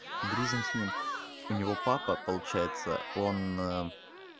дружим с ним у него папа получается он